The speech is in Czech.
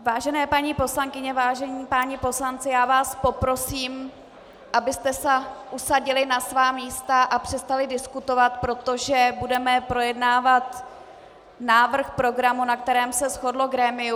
Vážené paní poslankyně, vážení páni poslanci, já vás poprosím, abyste se usadili na svá místa a přestali diskutovat, protože budeme projednávat návrh programu, na kterém se shodlo grémium.